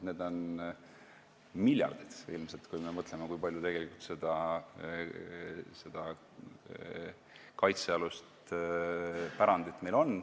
Neid on ilmselt miljardeid, kui me mõtleme, kui palju meil tegelikult kaitsealust pärandit on.